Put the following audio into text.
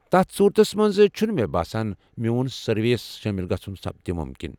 تتھ صورتس منز چھُنہٕ مے باسان میون سروے ہس شٲمِل گژھُن سپدِ مُمكِن ۔